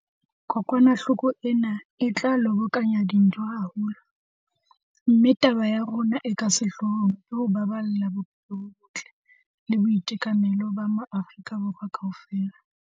Kokwanahloko ena e tla lobokanya dintho haholo, mme taba ya rona e ka sehlohlolong ke ho baballa bophelo bo botle le boitekanelo ba maAforika Borwa kaofela.